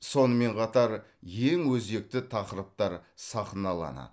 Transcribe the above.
сонымен қатар ең өзекті тақырыптар сахналанады